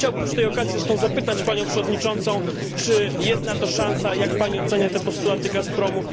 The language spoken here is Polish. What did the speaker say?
Chciałbym przy tej okazji zresztą zapytać Panią Przewodniczącą, czy jest na to szansa i jak Pani ocenia te postulaty Gazpromu?